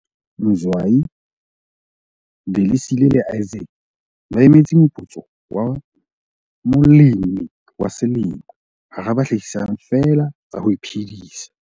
Mzwayi, Delisile le Isaac ba emetse moputso wa Molemi wa Selemo hara ba hlahisang feela tsa ho iphedisa